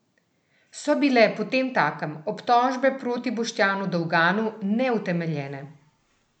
So bile potemtakem obtožbe proti Boštjanu Dolganu neutemeljene?